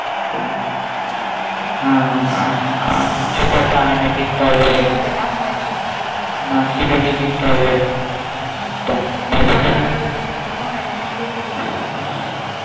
ছোট একটা আয়না কিনতে হবে অনেক দিন তো কেনাও হয়নি হ্যাঁ চিরুনি কিনতে হবে বাবুর জন্য অনেক দিন তো কিছু কেনাও হয়নি